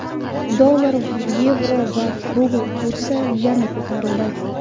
Dollar, yevro va rubl kursi yana ko‘tarildi.